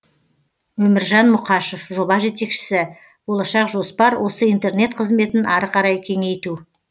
өміржан мұқашев жоба жетекшісі болашақ жоспар осы интернет қызметін ары қарай кеңейту